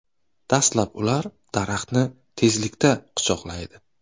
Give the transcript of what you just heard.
Dastlab ular daraxtni tezlikda quchoqlaydi.